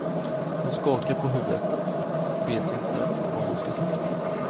Hon skakar på huvudet vet inte vad hon ska tro.